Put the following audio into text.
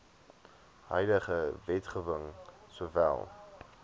huidige wetgewing sowel